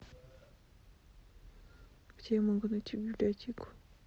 где я могу найти библиотеку